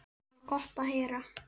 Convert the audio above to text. Það var gott að heyra.